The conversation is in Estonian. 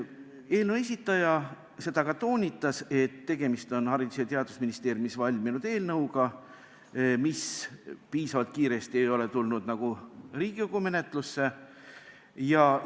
Eelnõu esitaja ka toonitas, et tegemist on Haridus- ja Teadusministeeriumis valminud eelnõuga, mis ei ole piisavalt kiiresti Riigikogu menetlusse tulnud.